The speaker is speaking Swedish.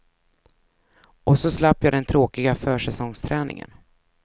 Och så slapp jag den tråkiga försäsongsträningen.